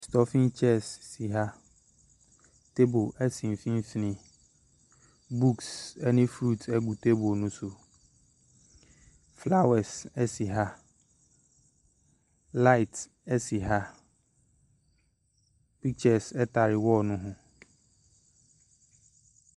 Stuffing chairs si ha, table si mfimfini, books ne fruits gu table ne so, flowers si ha, light si ha, pistures tare wall no ho.